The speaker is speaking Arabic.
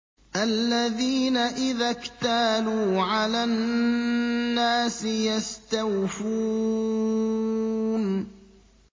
الَّذِينَ إِذَا اكْتَالُوا عَلَى النَّاسِ يَسْتَوْفُونَ